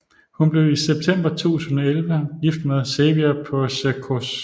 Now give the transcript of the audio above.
Hun blev i september 2011 gift med Xavier Puicercos